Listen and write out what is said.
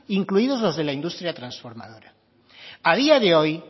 incluidos los de la industria transformadora a día de hoy